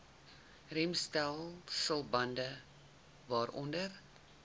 remstelsel bande waaronder